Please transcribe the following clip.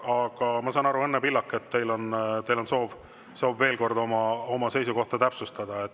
Aga ma saan aru, Õnne Pillak, et teil on soov veel kord oma seisukohta täpsustada.